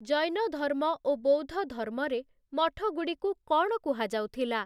ଜୈନଧର୍ମ ଓ ବୌଦ୍ଧଧର୍ମରେ ମଠଗୁଡ଼ିକୁ କ'ଣ କୁହାଯାଉଥିଲା?